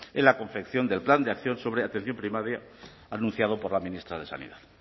en la confección del plan de acción sobre atención primaria anunciado por la ministra de sanidad